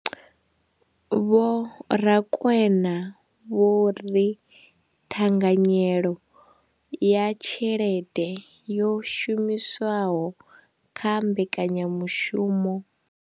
Vho Rakwena vho ri ṱhanganyelo ya tshelede yo shumiswaho kha mbekanya mushumo.